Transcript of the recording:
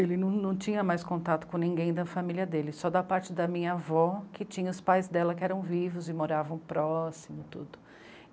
Ele não tinha mais contato com ninguém da família dele, só da parte da minha avó, que tinha os pais dela que eram vivos e moravam próximos e tudo.